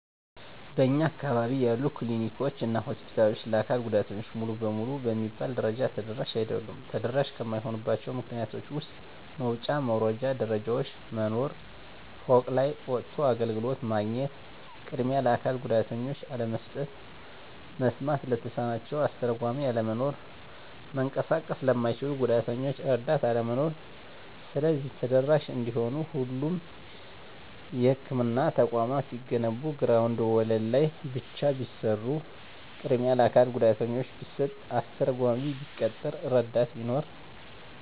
በእኛ አካባቢ ያሉ ክሊኒኮች እና ሆስፒታሎች ለአካል ጉዳተኞች ሙሉ በሙሉ በሚባል ደረጃ ተደራሽ አይደሉም። ተደራሽ ከማይሆኑባቸው ምክንያቶች ውስጥ መውጫ መውረጃ ደረጃዎች መኖር፤ ፎቅ ላይ ወጥቶ አገልግሎት ማግኘት፤ ቅድሚያ ለአካል ጉዳተኞች አለመስጠት፤ መስማት ለተሳናቸው አስተርጓሚ አለመኖር፤ መንቀሳቀስ ለማይችሉት ጉዳተኞች እረዳት አለመኖር። ስለዚህ ተደራሽ እንዲሆኑ ሁሎቹም የህክምና ተቋማት ሲገነቡ ግራውንድ ወለል ላይ ብቻ ቢሰሩ፤ ቅድሚያ ለአካል ጉዳተኛ ቢሰጥ፤ አስተርጓሚ ቢቀጠር፤ እረዳት ቢኖር።